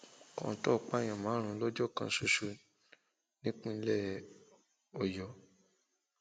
kọńtò pààyàn márùnún lọjọ kan ṣoṣo nípínlẹ ọyọ